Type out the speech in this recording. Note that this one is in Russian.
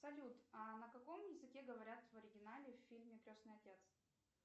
салют а на каком языке говорят в оригинале в фильме крестный отец